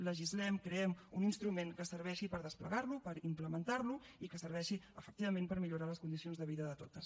legislem creem un instrument que serveixi per desplegar lo per implementar lo i que serveixi efectivament per millorar les condicions de vida de totes